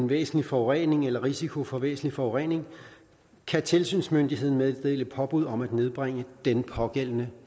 væsentlig forurening eller risiko for væsentlig forurening kan tilsynsmyndigheden meddele påbud om at nedbringe den pågældende